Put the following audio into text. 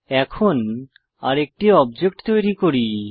এখন আরেকটি অবজেক্ট তৈরী করি